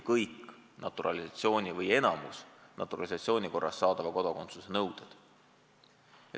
Sel puhul ei kehti enamik naturalisatsiooni korras saadava kodakondsuse nõudeid.